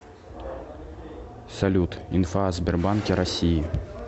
салют инфа о сбербанке россии